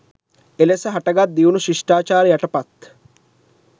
එලෙස හටගත් දියුණු ශිෂ්ටාචාර යටපත්